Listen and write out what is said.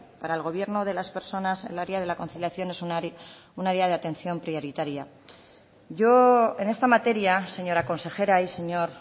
para el gobierno de las personas el área de la conciliación es un área de atención prioritaria yo en esta materia señora consejera y señor